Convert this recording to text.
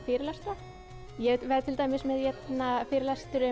fyrirlestra ég verð til dæmis með fyrirlestur um